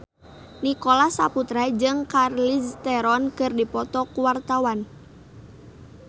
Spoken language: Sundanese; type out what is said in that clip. Nicholas Saputra jeung Charlize Theron keur dipoto ku wartawan